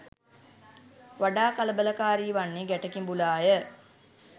වඩා කලබලකාරී වන්නේ ගැට කිඹුලාය.